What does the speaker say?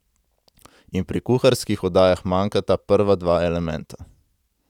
In pri kuharskih oddajah manjkata prva dva elementa.